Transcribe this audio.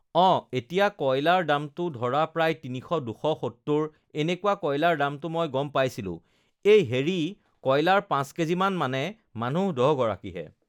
অঁ এতিয়া কয়লাৰৰ দামটো ধৰা প্ৰায় তিনিশ দুশ সত্তৰ এনেকুৱা কয়লাৰৰ দামটো মই গম পাইছিলোঁ এই হেৰি কয়লাৰ পাঁচ কেজিমান মানে মানুহ দহগৰাকীহে